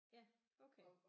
Ja okay